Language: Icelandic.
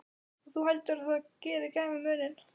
Og þú heldur það geri gæfumuninn?